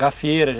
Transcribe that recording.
Gafieira.